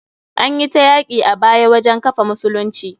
Anyi ta yaki a baya wajen kafa musulunci.